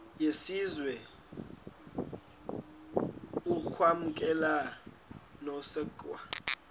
yesizwe ukwamkelwa nokusekwa